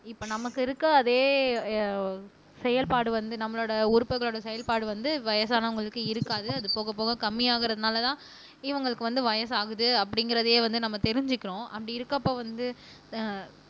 இப்ப நமக்கு இருக்க அதே செயல்பாடு வந்து நம்மளோட உறுப்புகளோட செயல்பாடு வந்து வயசானவங்களுக்கு இருக்காது அது போக போக கம்மியாகுறதுனாலதான் இவங்களுக்கு வந்து வயசாகுது அப்படிங்கிறதையே வந்து நம்ம தெரிஞ்சுக்கிறோம் அப்படி இருக்கப்ப வந்து